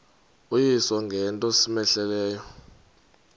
uyise ngento cmehleleyo